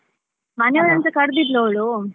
ಮನೆಯವರನ್ನುಸ ಕರ್ದಿದ್ಲು ಅವಳು.